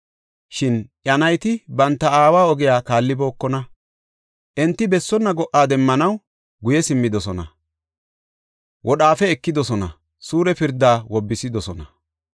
Shin iya nayti banta aawa ogiya kaallibookona. Enti bessonna go77a demmanaw guye simmidosona; wodhaafe ekidosona, suure pirda wobbisidosona.